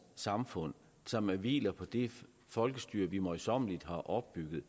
samfund som hviler på det folkestyre vi møjsommeligt har opbygget